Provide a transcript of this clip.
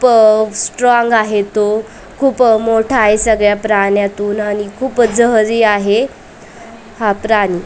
प स्ट्रॉंग आहे तो खूप मोठा आहे सगळ्या प्राण्यातून आणि खूप जहरी आहे हा प्राणी--